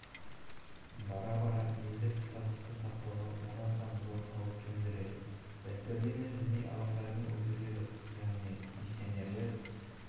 бара-бара елдік тұтастықты сақтауға оразан зор қауіп төндіреді дәстүрлі емес діни ағымдардың өкілдері яғни миссионерлер